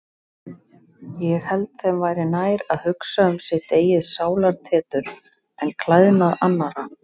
Ég held þeim væri nær að hugsa um sitt eigið sálartetur en klæðnað annarra.